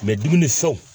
dumuni so